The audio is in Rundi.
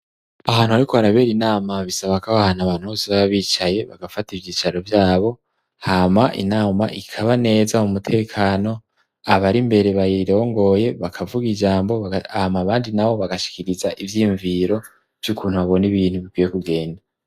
Ahantu ari ko harabera inama bisaba kaba ahantu abantu bose bababicaye bagafata ivyicaro vyabo hama inama ikaba neza mu mutekano abari imbere bayirongoye bakavuga ijambo ama abandi na bo bagashikiriza ivyiyumviro vy'ukuntu babona ibintu bikwiye kugenda.